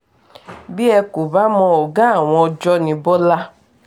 bí ẹ kò bá mọ ọ̀gá àwọn ọjọ́ ní bọ́lá